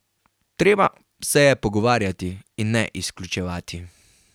Treba se je pogovarjati, in ne izključevati.